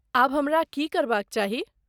आब हमरा की करबाक चाही?